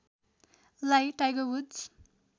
लाई Tiger woods